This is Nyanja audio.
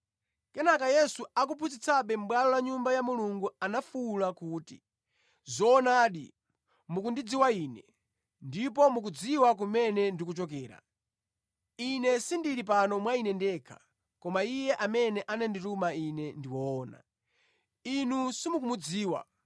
Kenaka Yesu, akuphunzitsabe mʼbwalo la Nyumba ya Mulungu anafuwula kuti, “Zoona, mukundidziwa Ine, ndipo mukudziwa kumene ndikuchokera. Ine sindili pano mwa Ine ndekha, koma Iye amene anandituma Ine ndi woona. Inu simukumudziwa,